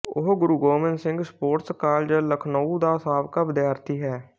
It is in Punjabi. ਉਹ ਗੁਰੂ ਗੋਬਿੰਦ ਸਿੰਘ ਸਪੋਰਟਸ ਕਾਲਜ ਲਖਨਊ ਦਾ ਸਾਬਕਾ ਵਿਦਿਆਰਥੀ ਹੈ